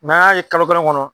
an y'a ye kalo kelen kɔnɔ